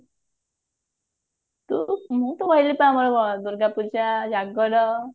Durga Puja Jagar